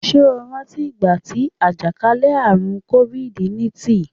Ṣé o rántí ìgbà tí àjàkálẹ̀ àrùn kofid niintìn?